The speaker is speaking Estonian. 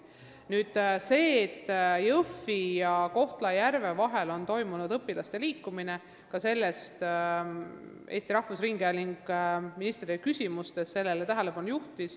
Nüüd sellest, et Jõhvi ja Kohtla-Järve vahel on toimunud õpilaste liikumine, millele juhtis tähelepanu ka Eesti Rahvusringhääling oma küsimustes ministrile.